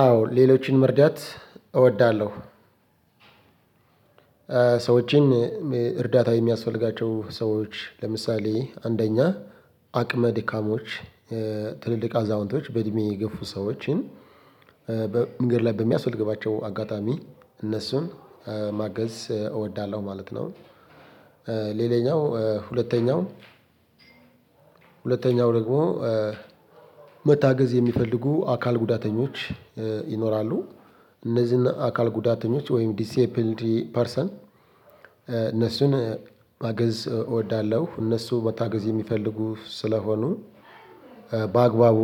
አዎ ሌሎችን መርዳት እወዳለሁ። ሰዎችን እርዳታ የሚያስፈልጋቸው ሰዎች ለምሳሌ አንደኛ አቅመ ድካሞች ትልልቅ አዛውንቶች በእድሜ የገፉ ሰዎችን በመንገድ ላይ በሚያስፈልጋቸው አጋጣሚ እነሱን ማገዝ እወዳለሁ ማለት ነው። ሌላኛው ሁለተኛው ሁለተኛው ደግሞ መታገዝ የሚፈልጉ አካል ጉዳተኞች ይኖራሉ እነዚህን አካል ጉዳተኞች ወይም ዲሲብልድ ፐርሰን እነሱን ማገዝ እወዳለሁ እነሱ መታገዝ የሚፈልጉ ስለሆኑ በአግባቡ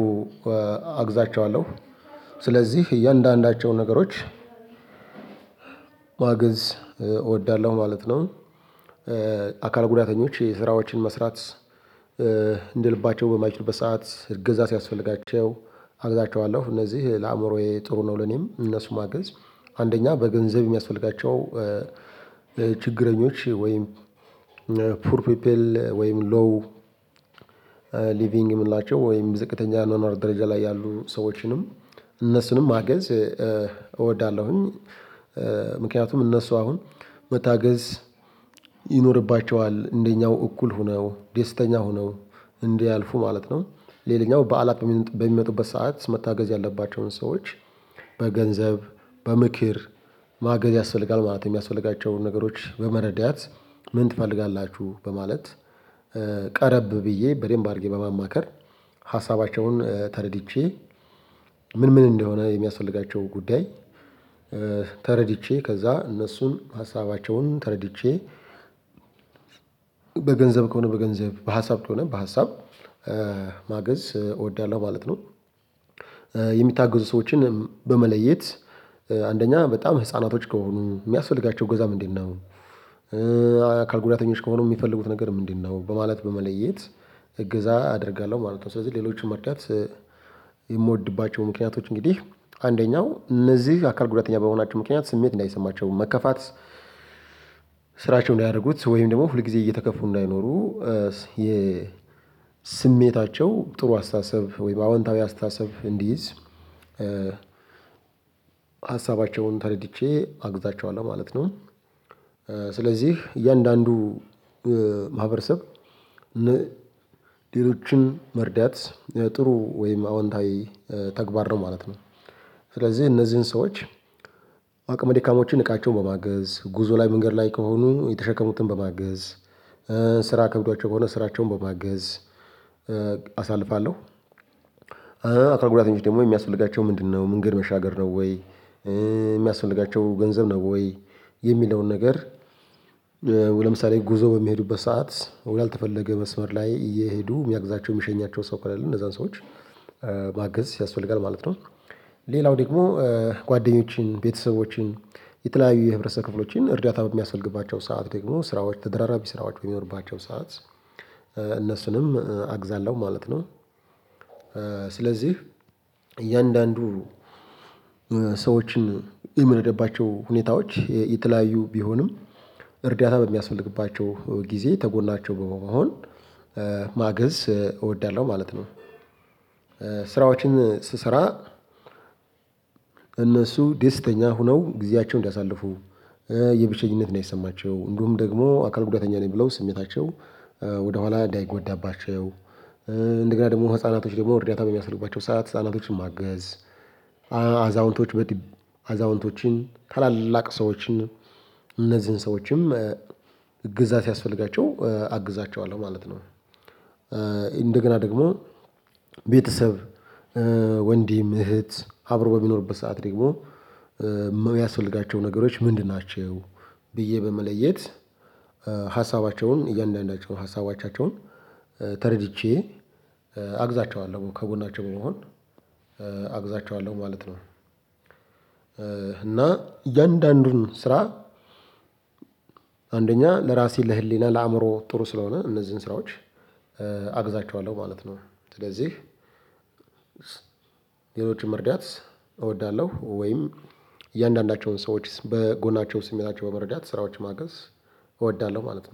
አግዛቸዋለሁ ስለዚህ እያንዳንዳቸው ነገሮች ማገዝ እወዳለሁ ማለት ነው። አካል ጉዳተኞች የስራዎችን መስራት እንደ ልባቸው በማይችሉበት ሰዓት እገዛ ሲያስፈልጋቸው አግዛቸዋለሁ እነዚህ ለአእምሮዬ ጥሩ ነው። ለእኔም እነሱን ማገዝ አንደኛ በገንዘብ የሚያስፈልጋቸው ችግረኞች ወይም ፑር ፒፕል ወይም ሎው ሊቪንግ የምንላቸው ወይም ዝቅተኛ አኗኗ ደረጃ ላይ ያሉ ሰዎችንም እነሱንም ማገዝ እወዳለሁኝ። ምክንያቱም እነሱ አሁን መታገዝ ይኖርባቸዋል እንደኛው እኩል ሆነው ደስተኛ ሆነው እንዲህ ያልፉ ማለት ነው። ሌላኛው በዓላት በሚመጡበት ሰዓት መታገዝ ያለባቸውን ሰዎች በገንዘብ በምክር ማገዝ ያስፈልጋል። ማለት የሚያስፈልጋቸውን ነገሮች በመረዳት ምን ትፈልጋላችሁ በማለት ቀረብ ብዬ በደንብ አድርጌ በማማከር ሀሳባቸውን ተረድቼ ምን ምን እንደሆነ የሚያስፈልጋቸው ጉዳይ። ተረድቼ ከዛ እነሱን ሀሳባቸውን ተረድቼ በገንዘብ ከሆነ በገንዘብ በሀሳብ ከሆነ በሀሳብ ማገዝ እወዳለሁ ማለት ነው። የሚታገዙ ሰዎችን በመለየት አንደኛ በጣም ህፃናቶች ከሆኑ የሚያስፈልጋቸው እገዛ ምንድ ነው? አካል ጉዳተኞች ከሆኑ የሚፈልጉት ነገር ምንድነው? በማለት በመለየት እገዛ አደርጋለሁ ማለት ነው። ስለዚህ ሌሎችን መርዳት የምወድባቸው ምክንያቶች እንግዲህ አንደኛው እነዚህ አካል ጉዳተኛ በመሆናቸው ምክንያት ስሜት እንዳይሰማቸው መከፋት። ስራቸውን እንዳያረጉት ወይም ደግሞ ሁል ጊዜ እየተከፉ እንዳይኖሩ የ ስሜታቸው ጥሩ አስተሳሰብ ወይም አዎንታዊ አስተሳሰብ እንዲይዝ። ሀሳባቸውን ተረድቼ አግዛቸዋለሁ ማለት ነው። ስለዚህ እያንዳንዱ ማህበረሰብ ሌሎችን መርዳት ጥሩ ወይም አዎንታዊ ተግባር ነው ማለት ነው። ስለዚህ እነዚህን ሰዎች አቅመ ደካማዎችን እቃቸውን በማገዝ ጉዞ ላይ መንገድ ላይ ከሆኑ የተሸከሙትን በማገዝ ስራ ከብዷቸው ከሆነ ስራቸውን በማገዝ አሳልፋለሁ። አካል ጉዳተኞች ደግሞ የሚያስፈልጋቸው ምንድነው? መንገድ መሻገር ነው ወይ? የሚያስፈልጋቸው ገንዘብ ነው ወይ የሚለውን ነገር። ለምሳሌ ጉዞ በሚሄዱበት ሰዓት ያልተፈለገ መስመር ላይ እየሄዱ የሚያግዛቸው የሚሸኛቸው ሰው ከሌለ እነዛን ሰዎች ማገዝ ያስፈልጋል ማለት ነው። ሌላው ደግሞ ጓደኞችን ቤተሰቦችን የተለያዩ የህብረተሰብ ክፍሎችን እርዳታ የሚያስፈልግባቸው ሰዓት ደግሞ ስራዎች ተደራራቢ ስራዎች ሚኖርባቸው ሰዓት እነሱንም አግዛለሁ ማለት ነው። ስለዚህ እያንዳንዱ ሰዎችን የምረዳባቸው ሁኔታዎች የተለያዩ ቢሆንም እርዳታ በሚያስፈልግባቸው ጊዜ ከጎናቸው በመሆን ማገዝ እወዳለሁ ማለት ነው። ስራዎችን ስሰራ እነሱ ደስተኛ ሆነው ጊዜያቸውን እንዲያሳልፉ የብቸኝነት እንዳይሰማቸው እንዲሁም ደግሞ አካል ጉዳተኛ ነኝ ብለው ስሜታቸው ወደኋላ እንዳይጎዳባቸው። እንደገና ደግሞ ህፃናቶች ደግሞ እርዳታ በሚያስፈልጋቸው ሰዓት ህፃናቶችን ማገዝ አዛውንቶች በጣም አዛውንቶችን ታላላቅ ሰዎችን እነዚህን ሰዎችም እገዛ ሲያስፈልጋቸው አግዛቸዋለሁ ማለት ነው። እንደገና ደግሞ ቤተሰብ ወንድም እህት አብሮ በሚኖርበት ሰዓት ደግሞ የሚያስፈልጋቸው ነገሮች ምንድን ናቸው? ብዬ በመለየት ሀሳባቸውን እያንዳንዳቸውን ሀሳቦቻቸውን ተረድቼ አግዛቸዋለሁ ከጎናቸው በመሆን አግዛቸዋለሁ ማለት ነው። እና እያንዳንዱን ስራ አንደኛ ለራሴ ለህሊና ለአእምሮ ጥሩ ስለሆነ እነዚህን ስራዎች አግዛቸዋለሁ ማለት ነው። ስለዚህ ሌሎችን መርዳት እወዳለሁ ወይም እያንዳንዳቸውን ሰዎች በጎናቸው ስሜታቸውን በመረዳት ስራዎች ማገዝ እወዳለሁ ማለት ነው